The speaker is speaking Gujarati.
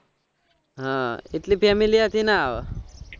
હા એટલે family હાથે ના આવે